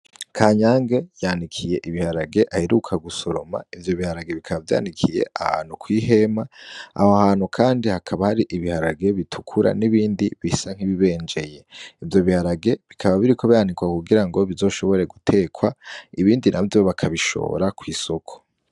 Kanyange yanikiye ibiharage aheruka gusoroma. Ivyo biharage bikaba vyanikiye ahantu kw'ihema Aho hantu kandi hakaba hari ibiharage bitukura n'ibindi bisa n'ibibenjeye. Ivyo biharage bikaba biriko biranikwa kugirango bizoshobore gutekwa ibindi navyo bakabishora kwisoko.